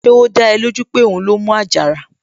Ṣé ó dá ẹ lójú pé òun ló mú àjàrà?